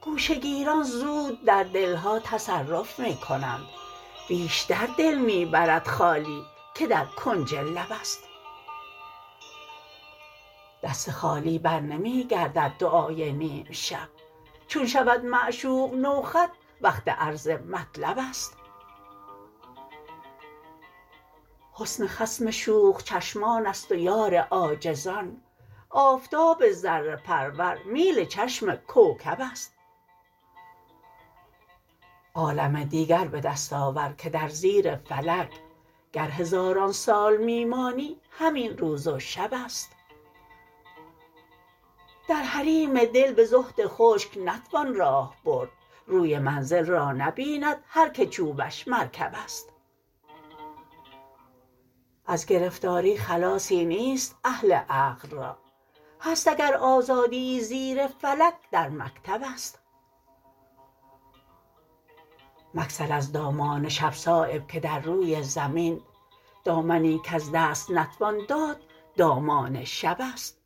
گوشه گیران زود در دلها تصرف می کنند بیشتر دل می برد خالی که در کنج لب است دست خالی برنمی گردد دعای نیمشب چون شود معشوق نو خط وقت عرض مطلب است حسن خصم شوخ چشمان است و یار عاجزان آفتاب ذره پرور میل چشم کوکب است عالم دیگر به دست آور که در زیر فلک گر هزاران سال می مانی همین روز و شب است در حریم دل به زهد خشک نتوان راه برد روی منزل را نبیند هر که چوبش مرکب است از گرفتاری خلاصی نیست اهل عقل را هست اگر آزادیی زیر فلک در مکتب است مگسل از دامان شب صایب که در روی زمین دامنی کز دست نتوان داد دامان شب است